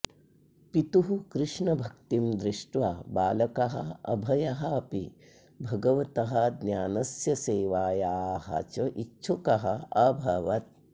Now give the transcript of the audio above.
पितुः कृष्णभक्तिं दृष्ट्वा बालकः अभयः अपि भगवतः ज्ञानस्य सेवायाः च इच्छुकः अभवत्